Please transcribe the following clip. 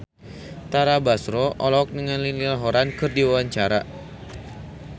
Tara Basro olohok ningali Niall Horran keur diwawancara